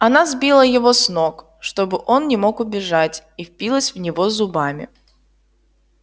она сбила его с ног чтобы он не мог убежать и впилась в него зубами